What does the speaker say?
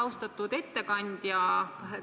Austatud ettekandja!